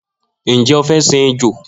Njẹ o fẹ sìn ejò?